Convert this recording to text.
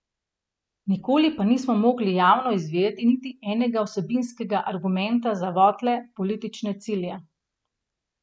Nikoli pa nismo mogli javno izvedeti niti enega vsebinskega argumenta za votle politične cilje.